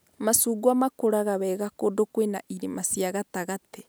Macungwa makũraga wega kũndũ kwĩna irĩma cia gatagatĩ